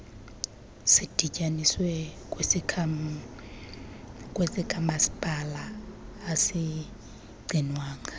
sidityaniswe kwesikamasipala asigcinwanga